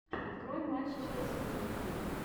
открой матч челси ливерпуль